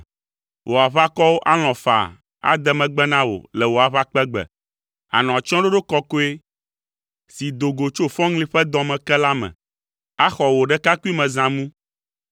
Wò aʋakɔwo alɔ̃ faa ade megbe na wò le wò aʋakpegbe. Ànɔ atsyɔ̃ɖoɖo kɔkɔe, si do go tso fɔŋli ƒe dɔ me ke la me, axɔ wò ɖekakpuimezãmu.